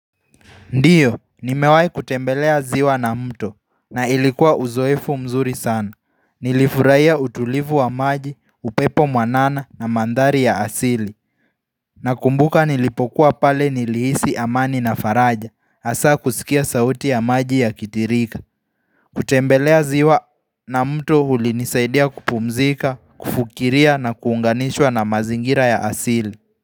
Ndiyo, nimewai kutembelea ziwa na mto, na ilikuwa uzoefu mzuri sana. Nilifuraiya utulivu wa maji, upepo mwanana na mandhari ya asili. Na kumbuka nilipokuwa pale nilihisi amani na faraja, asa kusikia sauti ya maji ya kitirika. Kutembelea ziwa na mto huli nisaidia kupumzika, kufukiria na kuunganishwa na mazingira ya asili.